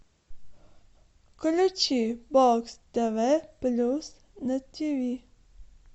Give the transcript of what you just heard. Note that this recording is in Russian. включи бокс тв плюс на тиви